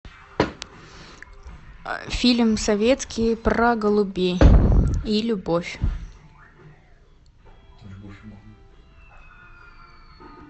фильм советский про голубей и любовь